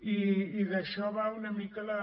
i d’això va una mica la